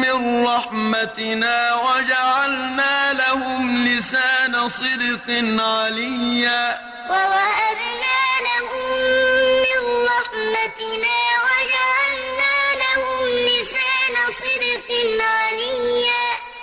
مِّن رَّحْمَتِنَا وَجَعَلْنَا لَهُمْ لِسَانَ صِدْقٍ عَلِيًّا وَوَهَبْنَا لَهُم مِّن رَّحْمَتِنَا وَجَعَلْنَا لَهُمْ لِسَانَ صِدْقٍ عَلِيًّا